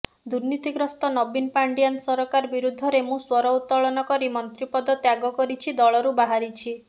ଦୁର୍ନୀତିଗ୍ରସ୍ତ ନବୀନ ପାଣ୍ଡିଆନ ସରକାର ବିରୁଦ୍ଧରେ ମୁଁ ସ୍ୱର ଉତ୍ତୋଳନ କରି ମନ୍ତ୍ରୀପଦ ତ୍ୟାଗ କରିଛି ଦଳରୁ ବାହାରିଛି